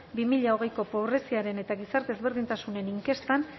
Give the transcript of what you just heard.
bi mila hogeiko pobreziaren eta gizarte ezberdintasunen inkestan